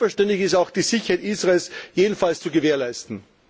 Und selbstverständlich ist auch die Sicherheit Israels auf jeden Fall zu gewährleisten.